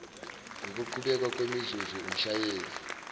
ngokuqhubeka kwemizuzu umshayeli